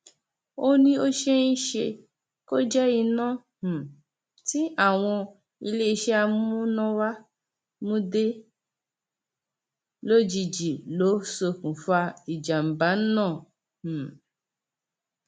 ó ní ó ṣeé ṣe kó jẹ iná um tí àwọn iléeṣẹ amúnáwá mú dé lójijì ló ṣokùnfà ìjàǹbá náà um